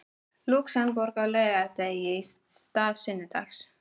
Lúxemborgar á laugardegi í stað sunnudags.